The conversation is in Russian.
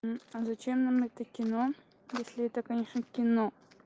а зачем нам это кино если это конечно кино